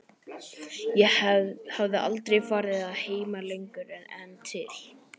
Ég hafði aldrei farið að heiman lengur en til